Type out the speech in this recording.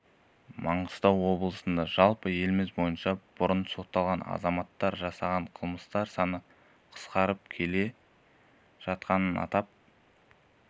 маңыстау облысында жалпы еліміз бойынша бұрын сотталған азаматтар жасаған қылмыстар саны қысқарып келе жатқанын атап